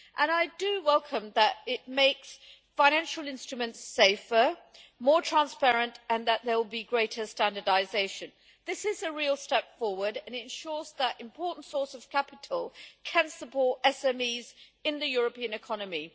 I do welcome the fact that it makes financial instruments safer and more transparent, and that there will be greater standardisation. This is a real step forward, and it ensures that an important source of capital can support SMEs in the European economy.